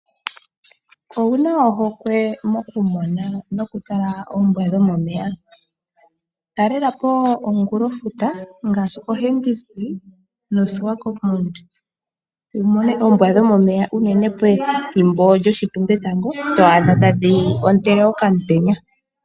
Owu na ohokwe mokutala nokutala oombwa dhomomeya? Talelapo komukulofuta ngaashi Hentisbay noSwakopmund wumone oombwa dhomomeya unene pethimbo lyoshitumbetango, twaadha tadhi ontele okamutenya.